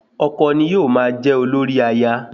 Ọkọ ni yóò máa jẹ́ olórí aya